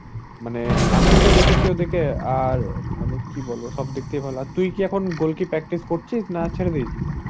আমি তো দেখেছি ওদেরকে আর মানে কি বলবো সব দিক থেকে ভালো আর তুই কি এখন goal কি practice করছিস না ছেড়ে দিয়েছিস?